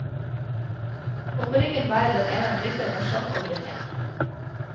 Og på ryggen bærer den en rytter med skjold og brynje.